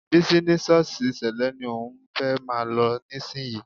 Bísí ní ṣọ́ọ̀ṣì Sẹ́lẹ̀ ni òun fẹ́ máa lọ nísìnyí